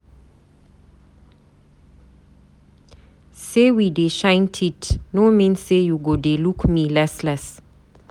Say we dey shine teeth no mean say you go dey look me less less